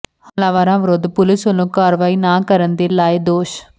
ਹਮਲਾਵਰਾਂ ਵਿਰੁੱਧ ਪੁਲਸ ਵੱਲੋਂ ਕਾਰਵਾਈ ਨਾ ਕਰਨ ਦੇ ਲਾਏ ਦੋਸ਼